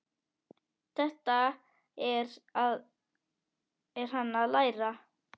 Þetta er hann að læra!